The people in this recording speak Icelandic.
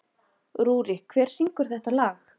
Rúrik, hver syngur þetta lag?